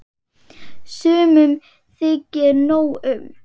Sumum þykir nóg um.